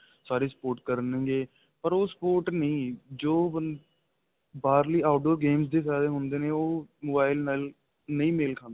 ਸਾਰੇ sport ਕਰਨਗੇ ਪਰ ਉਹ sport ਨਹੀਂ ਜੋ ਬੰਦੇ ਬਾਹਰਲੀ out door game ਦੇ ਜਾਹਿਰ ਹੁੰਦੇ ਨੇ ਉਹ mobile ਨਾਲ ਨਹੀਂ ਮੇਲ ਖਾਦੇ